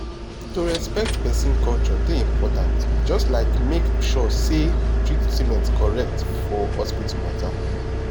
to respect person culture dey important just like make sure say treatment correct for hospital matter.